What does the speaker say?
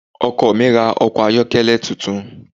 Ọkọ mi ra ọkọ̀ ayọ́kẹ́lẹ́ tuntun.